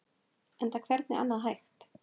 Enda hvernig annað hægt?